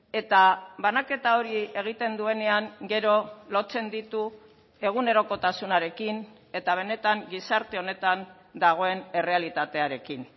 eta banaketa hori egiten duenean gero lotzen ditu egunerokotasunarekin eta benetan gizarte honetan dagoen errealitatearekin